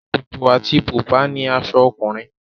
Ṣòkòtò àti bùbá ni aṣọ ọkùnrin.